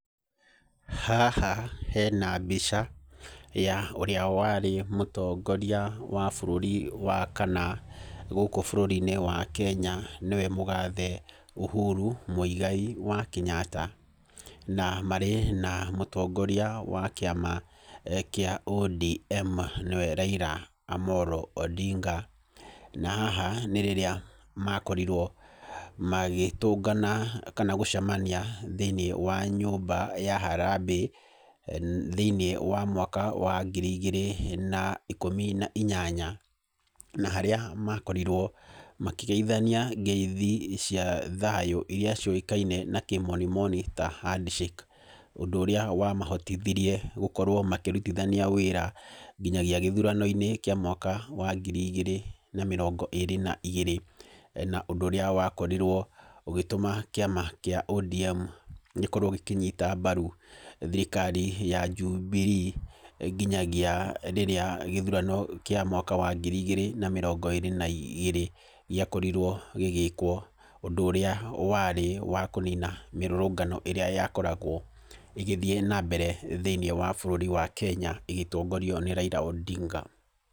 Haha hena mbica ya ũrĩa warĩ mũtongoria wa bũrũri wa kana gũkũ bũrũri-inĩ wa Kenya nĩwe mũgathe Uhuru Muigai wa Kenyatta, na marĩ na mũtongoria wa kĩama kĩa ODM nĩwe Raila Amolo Odinga. Na haha nĩ rĩrĩa makorirwo magĩtũngana kana gũcemania thĩiniĩ wa nyũmba ya harambee thĩiniĩ wa mwaka wa ngiri igĩrĩ na ikũmi na inyanya, na harĩa makorirwo makĩgeithania ngeithi cia thayũ iria ciũĩkaine na kĩmonimoni ta handshake, ũndũ ũrĩa wamahotithirie gũkorwo makĩrutithania wĩra nginyagia gĩthurano-inĩ kĩa mwaka wa ngiri igĩrĩ na mĩrongo ĩrĩ na igĩrĩ, na ũndũ ũrĩa wakorirwo ũgĩtũma kĩama kĩa ODM gĩkorwo gĩkinyita mbaru thirikari ya Jubilee nginyagia rĩrĩa gĩthurano kĩa mwaka wa ngiri igĩrĩ na mĩrongo ĩrĩ na igĩrĩ gĩakorirwo gĩgĩkwo, ũndũ ũrĩa warĩ wa kũnina mĩrũrũngano ĩrĩa yakoragwo ĩgĩthiĩ nambere thĩiniĩ wa bũrũri wa Kenya ĩgĩtongorio nĩ Raila Odinga.